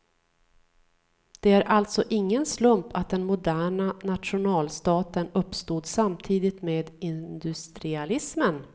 Det är alltså ingen slump att den moderna nationalstaten uppstod samtidigt med industrialismen.